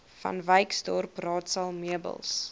vanwyksdorp raadsaal meubels